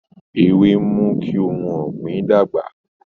Ewé ń mú kí ohun ọ̀gbìn dàgbà